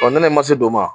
ne ma se o ma